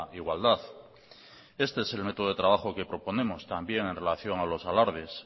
igualdad este es el método de trabajo que proponemos también en relación a los alardes